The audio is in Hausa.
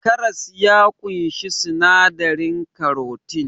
Karas ya ƙunshi sinadarin karotin